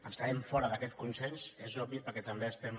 estarem fora d’aquest consens és obvi perquè també estem